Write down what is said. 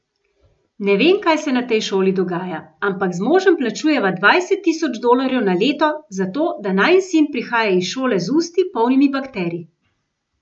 Ne vem, kaj se na tej šoli dogaja, ampak z možem plačujeva dvajset tisoč dolarjev na leto, zato da najin sin prihaja iz šole z usti, polnimi bakterij.